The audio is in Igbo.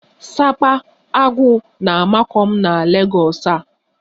Sapa(aguu) na-amakụ m na Legọs a